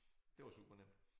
Det var supernemt